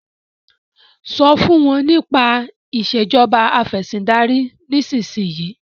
so fún wón nípa Ìṣèjọba Afẹ̀sìndarí nísìsiyìí!